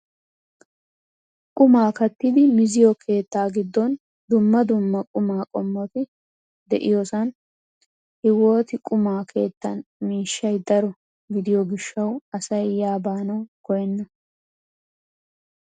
Qumaa kattidi miziyoo keettaa giddon dumma dumma qumaa qommoti de'iyoosan hiwooti quma keettan miishshay daro gidiyoo gishshawu asay yaa baanawu koyenna!